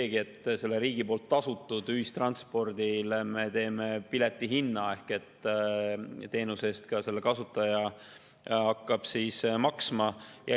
Me teeme riigi poolt tasutud ühistranspordile piletihinna ehk teenuse kasutaja hakkab selle eest ka maksma.